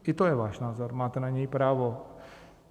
I to je váš názor, máte na něj právo.